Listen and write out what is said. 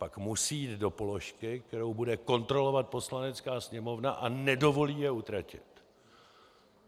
Pak musí jít do položky, kterou bude kontrolovat Poslanecká sněmovna, a nedovolí je utratit.